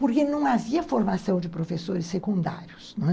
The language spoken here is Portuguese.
Porque não havia formação de professores secundários.